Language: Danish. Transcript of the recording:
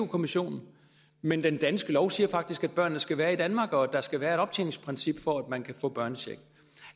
kommissionen men den danske lov siger faktisk at børnene skal være i danmark og at der skal være et optjeningsprincip for at man kan få børnechecken